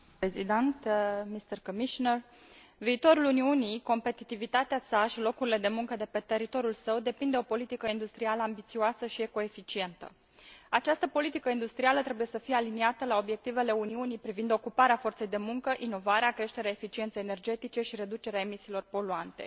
Doamnă președinte, domnule comisar, viitorul Uniunii, competitivitatea sa și locurile de muncă de pe teritoriul său depind de o politică industrială ambițioasă și ecoeficientă. Această politică industrială trebuie să fie aliniată la obiectivele Uniunii privind ocuparea forței de muncă, inovarea, creșterea eficienței energetice și reducerea emisiilor poluante.